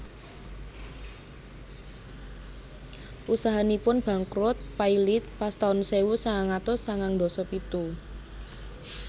Usahanipun bangkrut pailit pas taun sewu sangang atus sangang ndasa pitu